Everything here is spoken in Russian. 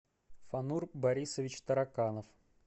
фанур борисович тараканов